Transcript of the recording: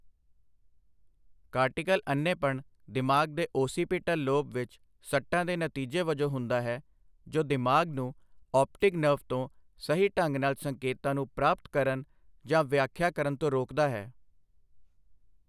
Cortical ਅੰਨ੍ਹੇਪਣ ਦਿਮਾਗ ਦੇ ਓਸੀਪੀਟਲ ਲੋਬ ਵਿੱਚ ਸੱਟਾਂ ਦੇ ਨਤੀਜੇ ਵਜੋਂ ਹੁੰਦਾ ਹੈ, ਜੋ ਦਿਮਾਗ ਨੂੰ ਆਪਟਿਕ ਨਰਵ ਤੋਂ ਸਹੀ ਢੰਗ ਨਾਲ ਸੰਕੇਤਾਂ ਨੂੰ ਪ੍ਰਾਪਤ ਕਰਨ ਜਾਂ ਵਿਆਖਿਆ ਕਰਨ ਤੋਂ ਰੋਕਦਾ ਹੈ।